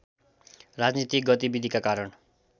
राजनीतिक गतिविधिका कारण